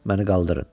Məni qaldırın.